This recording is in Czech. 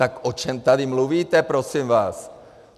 Tak o čem tady mluvíte, prosím vás?